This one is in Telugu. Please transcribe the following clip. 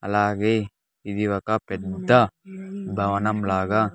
అలాగే ఇది ఒక పెద్ద భవనం లాగా.